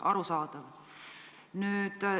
Arusaadav!